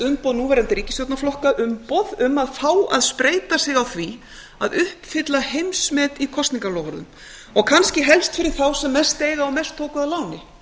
umboð núverandi ríkisstjórnarflokka umboð um að fá að spreyta sig á því að uppfylla heimsmet í kosningaloforðum og kannski helst fyrir þá sem mest eiga og mest tóku að láni